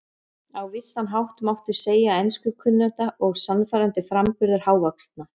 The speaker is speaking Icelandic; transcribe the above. Á vissan hátt mátti segja að enskukunnátta og sannfærandi framburður hávaxna